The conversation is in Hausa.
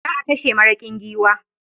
Za a kashe maraƙin giwa.